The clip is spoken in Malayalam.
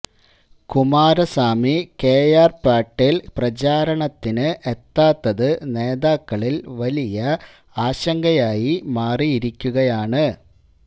കുമാരസ്വാമി കെആര് പേട്ടില് പ്രചാരണത്തിന് എത്താത്തത് നേതാക്കളില് വലിയ ആശങ്കയായി മാറിയിരിക്കുകയാണ്